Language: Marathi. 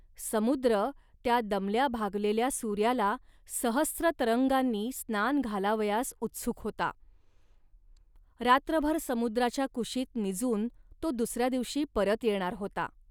समुद्र त्या दमल्याभागलेल्या सूर्याला सहस्र तरंगांनी स्नान घालावयास उत्सुक होता. रात्रभर समुद्राच्या कुशीत निजून तो दुसऱ्या दिवशी परत येणार होता